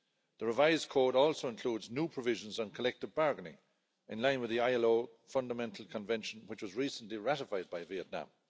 The revised code also includes new provisions on collective bargaining in line with the ILO Fundamental Convention, which was recently ratified by Vietnam.